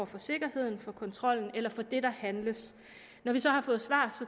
for sikkerheden for kontrollen eller for det der handles når vi så har fået svar